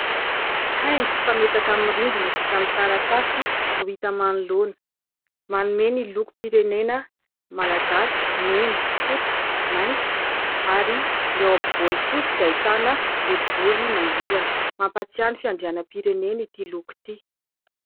haingo fametaka amin'ny rindrina vita amin'ny taratasy no hita manoloana ;manome ny lokom-pirenena malagasy ;mena ,fotsy, maintso ary ny ao ampovoany kosa dia ahitana boribory mangirana ;mampatsiahy fiandrianam-pirenena ity loko ity